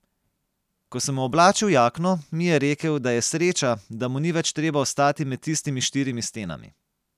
Ko sem mu oblačil jakno, mi je rekel, da je sreča, da mu ni več treba ostati med tistimi štirimi stenami.